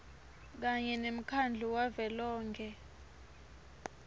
kanye nemkhandlu wavelonkhe